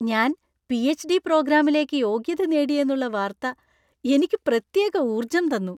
ഞാൻ പി.എച്ച്.ഡി. പ്രോഗ്രാമിലേക്കു യോഗ്യത നേടിയെന്നുള്ള വാർത്ത എനിക്ക് പ്രത്യേക ഊർജ്ജം തന്നു.